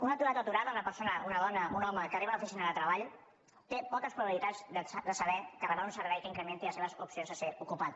un aturat o aturada una persona una dona o un home que arriba a una oficina de treball té poques probabilitats de saber que rebrà un servei que incrementi les seves opcions de ser ocupat